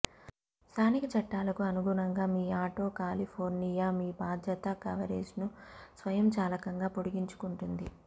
స్థానిక చట్టాలకు అనుగుణంగా మీ ఆటో కాలిఫోర్నియా మీ బాధ్యత కవరేజ్ను స్వయంచాలకంగా పొడిగించుకుంటుంది